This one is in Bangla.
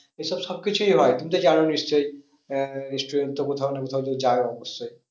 এসব সব কিছুই হয় তুমি তো জানো নিশ্চই আহ নিশ্চই তো কোথাও না কোথাও তো যাও অবশ্যই